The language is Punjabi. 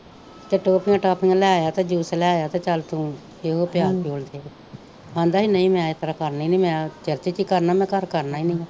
ਤੇ ਟੌਫੀਆਂ ਟੂਫੀਆ ਲੈ ਆ ਤੇ ਜੂਸ ਲੈ ਆ ਤੇ ਚਲ ਤੂੰ ਇਹੋ ਪਿਆਲ ਪਿਓਲ ਦਈ ਆਂਦਾ ਹੀ ਨਹੀਂ ਮੈ ਇਸਤਰਾਂ ਕਰਨੀ ਨਹੀਂ ਮੈ ਚਰਚ ਚ ਈ ਕਰਨਾ ਮੈ ਘਰ ਕਰਨਾ ਈ ਨਹੀਂ ਆ।